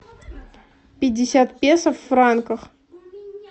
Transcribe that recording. пятьдесят песо в франках